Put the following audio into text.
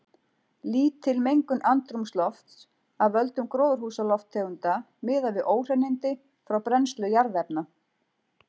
Lítil mengun andrúmslofts af völdum gróðurhúsalofttegunda miðað við óhreinindi frá brennslu jarðefna.